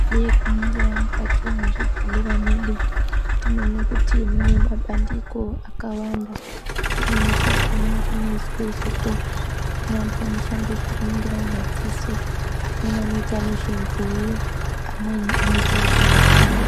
Nee kuningira mukati mwe zvibhehlera mwedu tinoona kuti mune mabandiko akawanda. Kumweni kwakona kunoizwa kune antu anoshanda kuningira madziso amweni anoita nezvenzeye amweni anoita zvemazino.